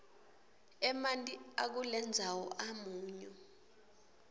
emanti akulendzawo amunyu